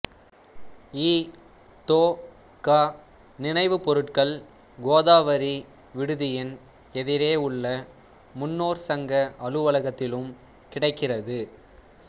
இ தொ க நினைவுப் பொருட்கள் கோதாவரி விடுதியின் எதிரே உள்ள முன்னோர் சங்க அலுவலகத்திலும் கிடைக்கிறது